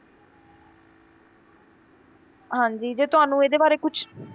ਹਾਂਜੀ ਜੇ ਤੁਹਾਨੂੰ ਇਹਦੇ ਬਾਰੇ ਕੁਛ